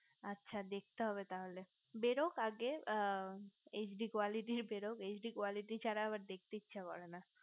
আচ্ছা দেখতে হবে তাহলে বের হোক আগে hd quality বের হোক hd quality ছাড়া আবার দেখতে ইস্সে করে না